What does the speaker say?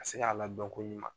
Ka se ka ladɔn koɲuman.